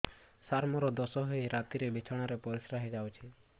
ସାର ମୋର ଦୋଷ ହୋଇ ରାତିରେ ବିଛଣାରେ ପରିସ୍ରା ହୋଇ ଯାଉଛି